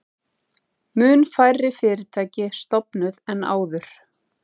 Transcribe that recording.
Mun færri fyrirtæki stofnuð en áður